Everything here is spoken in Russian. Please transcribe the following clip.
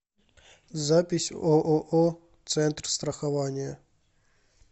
запись ооо центр страхования